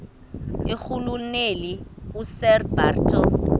irhuluneli usir bartle